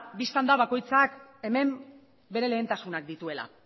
bistan da bakoitzak hemen bere lehentasunak dituela